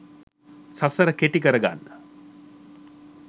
සසර කෙටි කරගන්න